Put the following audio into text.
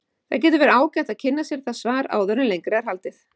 Það getur verið ágætt að kynna sér það svar áður en lengra er haldið.